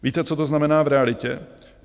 Víte, co to znamená v realitě?